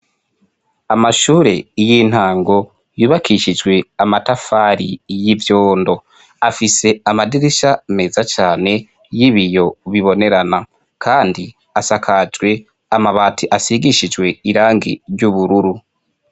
Amashure y'intango yubakishijwe amatafari y'ivyondo ,afise amadirisha meza cane y'ibiyo bibonerana, kandi asakajwe amabati asigishijwe irangi ry'ubururu.